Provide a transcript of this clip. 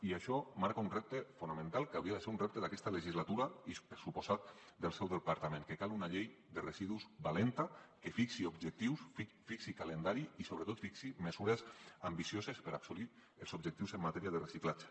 i això marca un repte fonamental que hauria de ser un repte d’aquesta legislatura i per descomptat del seu departament cal una llei de residus valenta que fixi objectius fixi calendari i sobretot fixi mesures ambicioses per assolir els objectius en matèria de reciclatge